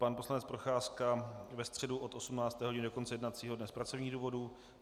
Pan poslanec Procházka ve středu od 18 hodin do konce jednacího dne z pracovních důvodů.